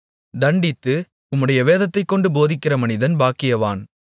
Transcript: தண்டித்து உம்முடைய வேதத்தைக்கொண்டு போதிக்கிற மனிதன் பாக்கியவான்